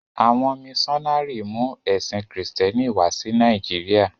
À̀wọn míṣọnárì mú ẹ̀sìn Kristẹ́ni wá sí Nàìjíríà.